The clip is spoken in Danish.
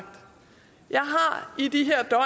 i de